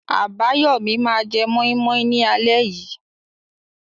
Abayomi máa jẹ moi moi ní alẹ́ yìí.